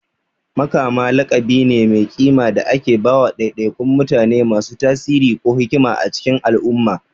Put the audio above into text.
Makama laƙabi ne mai kima da ake ba wa ɗaiɗaikun mutane masu tasiri ko hikima a cikin al'umma.